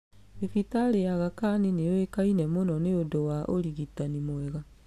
Thĩbitarĩ ya Aga Khan nĩ ĩũĩkaine mũno nĩ ũndũ wa ũrigitani mwega.